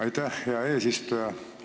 Aitäh, hea eesistuja!